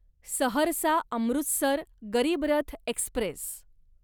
Saharsa Amritsar Garib Rath Express